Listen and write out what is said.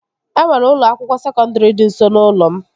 E nwere ụlọ akwụkwọ sekọndri dị nso n'ụlọ m